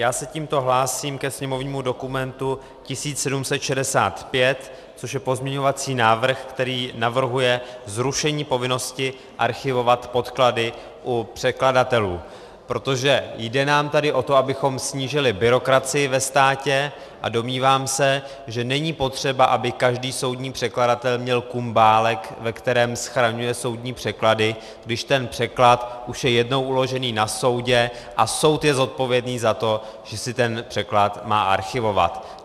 Já se tímto hlásím ke sněmovnímu dokumentu 1765, což je pozměňovací návrh, který navrhuje zrušení povinnosti archivovat podklady u překladatelů, protože jde nám tady o to, abychom snížili byrokracii ve státě, a domnívám se, že není potřeba, aby každý soudní překladatel měl kumbálek, ve kterém schraňuje soudní překlady, když ten překlad už je jednou uložený na soudě a soud je zodpovědný za to, že si ten překlad má archivovat.